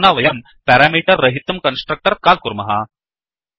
अधुना वयं पेरामीटर् रहितं कन्स्ट्रक्टर् काल् कुर्मः